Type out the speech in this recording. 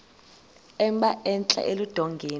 emba entla eludongeni